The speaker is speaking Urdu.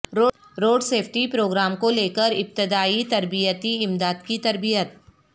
روڈ سیفٹی پروگرام کو لیکر ابتدائی تربیتی امداد کی تربیت